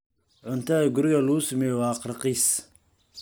Cuntada guriga lagu sameeyo waa raqiis.